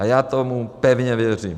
A já tomu pevně věřím.